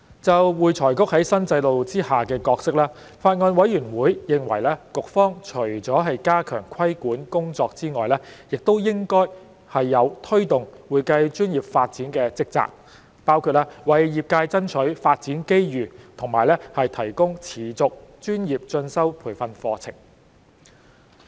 就會財局在新制度下的角色，法案委員會認為局方除了加強規管工作外，亦應有推動會計專業發展的職責，包括為業界爭取發展機遇及提供持續專業進修培訓課程。